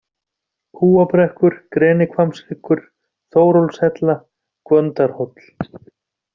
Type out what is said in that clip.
Kúabrekkur, Grenihvammshryggur, Þórólfshella, Gvöndarhóll